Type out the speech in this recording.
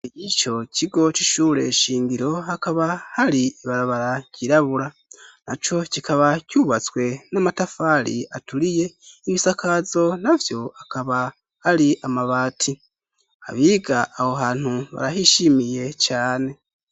Ico kigo c'ishuri shingiro ,hakaba hari ibarabara ry'irabura ,na co kikaba cubatswe n'amatafari aturiye ,ibisakazo navyo akaba ari amabati ,abiga aho hantu barahishimiye cane.